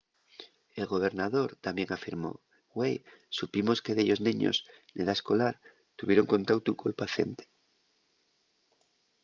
el gobernador tamién afirmó güei supimos que dellos neños n’edá escolar tuvieron contautu col paciente.